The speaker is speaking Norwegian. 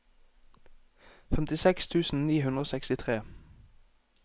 femtiseks tusen ni hundre og sekstitre